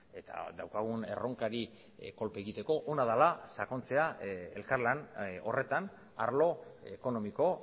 eta daukagun erronkari kolpe egiteko ona dela sakontzea elkarlan horretan arlo ekonomiko